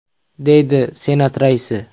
!”, deydi Senat raisi.